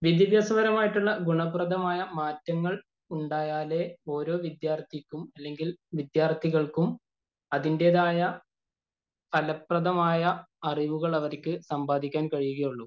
വിദ്യാഭ്യാസപരമായ ഗുണപ്രദമായ മാറ്റങ്ങള്‍ ഉണ്ടായാലെ ഓരോ വിദ്യാര്‍ത്ഥിക്കും അല്ലെങ്കില്‍ വിദ്യാര്‍ത്ഥികള്‍ക്കും അതിന്‍റേതായ ഫലപ്രദമായ അറിവുകള്‍ അവര്ക്ക് സമ്പാദിക്കാന്‍ കഴിയുകയുള്ളൂ.